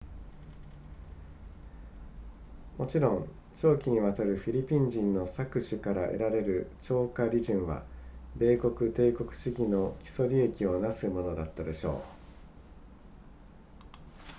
もちろん長期にわたるフィリピン人の搾取から得られる超過利潤は米国帝国主義の基礎利益を成すものだったでしょう